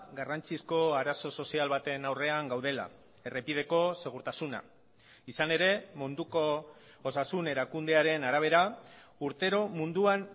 garrantzizko arazo sozial baten aurrean gaudela errepideko segurtasuna izan ere munduko osasun erakundearen arabera urtero munduan